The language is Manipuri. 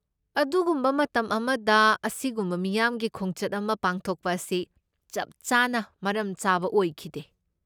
ꯑꯗꯨꯒꯨꯝꯕ ꯃꯇꯝ ꯑꯃꯗ ꯑꯁꯤꯒꯨꯝꯕ ꯃꯤꯌꯥꯝꯒꯤ ꯈꯣꯡꯆꯠ ꯑꯃ ꯄꯥꯡꯊꯣꯛꯄ ꯑꯁꯤ ꯆꯞ ꯆꯥꯅ ꯃꯔꯝꯆꯥꯕ ꯑꯣꯏꯈꯤꯗꯦ ꯫